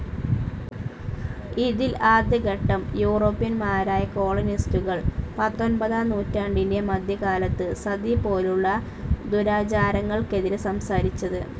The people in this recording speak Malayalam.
ഇതിൽ ആദ്യ ഘട്ടം യൂറോപ്പ്യന്മാരായ കോളനിസ്റ്റുകൾ പത്തൊൻപതാം നൂറ്റാണ്ടിൻ്റെ മധ്യകാലത്തു സതി പോലുള്ള ദുരാചാരങ്ങൾക്കെതിരെ സംസാരിച്ചത്.